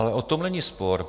Ale o tom není spor.